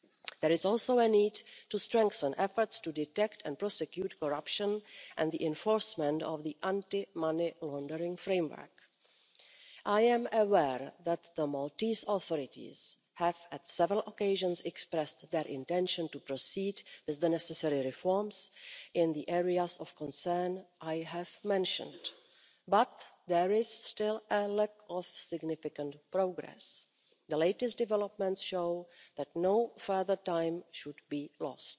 There is also a need to strengthen efforts to detect and prosecute corruption and the enforcement of the anti money laundering framework. I am aware that the Maltese authorities have, on several occasions, expressed their intention to proceed with the necessary reforms in the areas of concern I have mentioned, but there is still a lack of significant progress. The latest developments show that no further time should be lost.